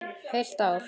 Heilt ár!